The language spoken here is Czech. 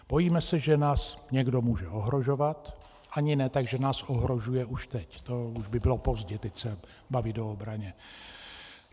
Bojíme se, že nás někdo může ohrožovat, ani ne tak že nás ohrožuje už teď, to už by bylo pozdě teď se bavit o obraně.